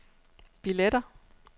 billetter